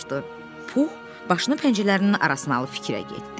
Pux başını pəncələrinin arasına alıb fikrə getdi.